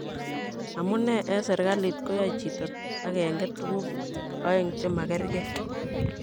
Amunee en serkalit koyoe chito agenge tuguu oeng chemakergei.?